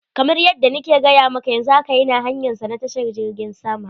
Kamar yadda na ke gaya maka, yanzu haka yana hanyansa na tashar jirgin sama.